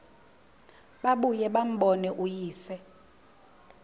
babuye bambone uyise